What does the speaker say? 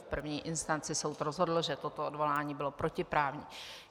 V první instanci soud rozhodl, že toto odvolání bylo protiprávní.